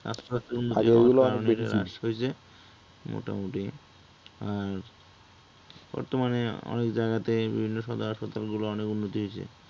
এটা হ্রাস পাইছে, আগে এগুলা, মোটামুটি আর বর্তমানে অনেক জায়গাতে বিভিন্ন সদর হাসপাতালগুলো অনেক উন্নতি হইছে